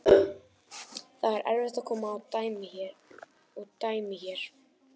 Það er erfitt að koma og dæma hérna.